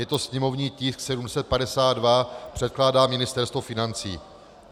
Je to sněmovní tisk 752, předkládá Ministerstvo financí.